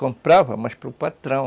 Comprava, mas para o patrão.